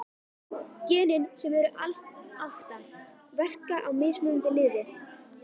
Genin, sem eru alls átta, verka á mismunandi liði.